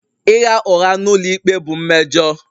Ịgha ụgha n'ụlọikpe bụ mmejọ.